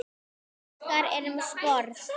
Fiskar eru með sporð.